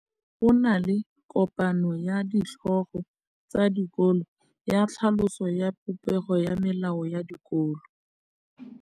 Go na le kopanô ya ditlhogo tsa dikolo ya tlhaloso ya popêgô ya melao ya dikolo.